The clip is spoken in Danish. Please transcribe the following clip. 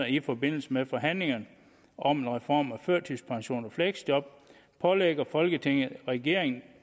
i forbindelse med forhandlingerne om en reform af førtidspension og fleksjob pålægger folketinget regeringen